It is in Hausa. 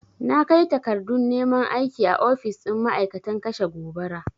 Na kai takardun neman aiki a ofis ɗin ma'aikatan kashe gobara.